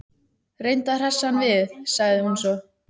Reyndu að hressa hann við- sagði hún svo.